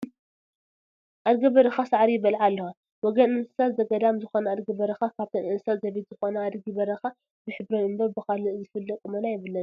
ኣድጊ በረኻ ሳዕሪ ይበልዓ ኣለዋ፡፡ ወገን እንስሳት ዘገዳም ዝኾና ኣድጊ በረኻ ካብተን እንስሳት ዘቤት ዝኾና ኣድጊ በረኻ ብሕብረን እምበር ብኣካል ዝፍለ ቁመና የብለንን፡፡